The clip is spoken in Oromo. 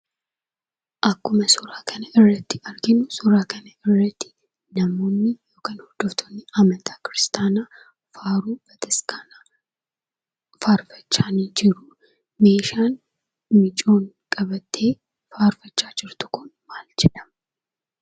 Akkuma suura kana irratti arginu suura namoonni yookiin hordoftoonni amantaa kiristaanaa faaruu bataskaanaa faarfachaa jiru. Meeshaan mucayyoon qabattee faarfachaa jirtu kun maal jedhama?